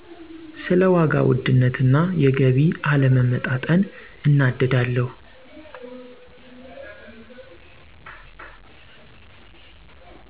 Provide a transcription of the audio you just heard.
ስለ ዋጋ ውድነት እና የገቢ አለመመጣጠን እናደዳለሁ።